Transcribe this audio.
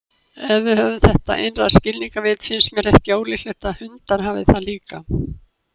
Ef við höfum þetta innra skilningarvit, finnst mér ekki ólíklegt að hundar hafi það líka.